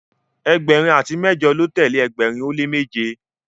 ẹgbẹrin ati mẹjọ lọ tẹle ẹgbẹrin o le meje